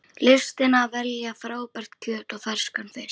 Listin að velja frábært kjöt og ferskan fisk